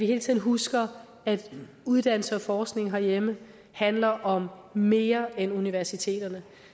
hele tiden husker at uddannelse og forskning herhjemme handler om mere end universiteterne